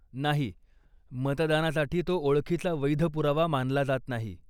नाही, मतदानासाठी तो ओळखीचा वैध पुरावा मानला जात नाही.